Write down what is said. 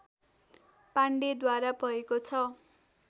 पाण्डेद्वारा भएको छ